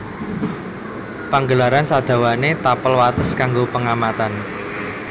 Panggelaran sadawané tapel wates kanggo pengamatan